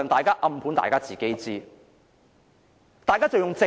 當然不是，這是大家都知道的。